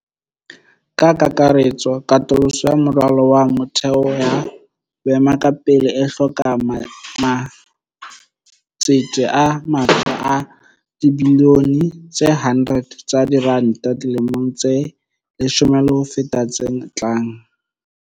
Ka kakaretso, katoloso ya moralo wa motheo ya boemakepe e hloka matsete a matjha a dibiliyone tse 100 tsa diranta dilemong tse leshome le ho feta tse tlang.